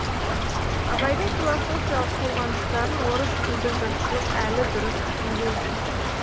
абайдың философиялық толғаныстарын орыс тілді жұртшылық әлі дұрыс түсінбейді